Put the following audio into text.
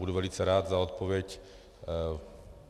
Budu velice rád za odpověď.